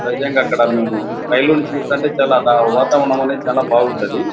Present అక్కడ మేము రైలును చూస్తుంటే చాలా వాతావరణం అనేది బాగుంది అది.